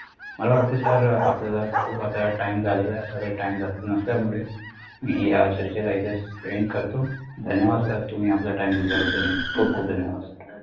मला वाटत sir अं आपल्याला खूप आता time झालेला आहे आपल्याकडे time जास्त नसल्यामुले मी या चर्चेला इथेच end करतो धन्यवाद sir तुम्ही आपल्या time दिल्याबद्दल खूप खुप धन्यवाद